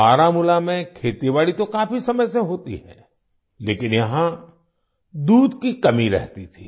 बारामूला में खेतीबाड़ी तो काफी समय से होती है लेकिन यहाँ दूध की कमी रहती थी